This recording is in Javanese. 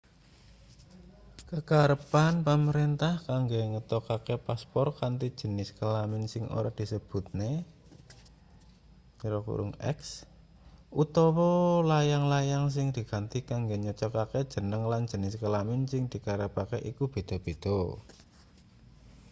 kekarepan pamrentah kanggo ngetokake paspor kanthi jenis kelamin sing ora disebutne x utawa layang-layang sing diganti kanggo nyocokake jeneng lan jenis kelamin sing dikarepake iku beda-beda